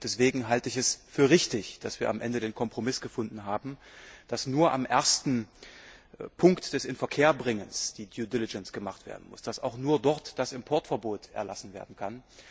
Deswegen halte ich es für richtig, dass wir am Ende den Kompromiss gefunden haben, dass nur am ersten Punkt des Inverkehrbringens die Sorgfaltspflicht greifen muss, dass auch nur dort das Importverbot erlassen werden kann.